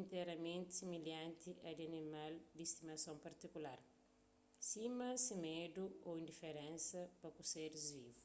interamenti similhanti a di animal di stimason partikular sima se medu ô indiferensa pa ku seris vivu